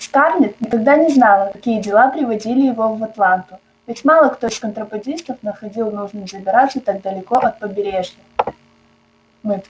скарлетт никогда не знала какие дела приводили его в атланту ведь мало кто из контрабандистов находил нужным забираться так далеко от побережья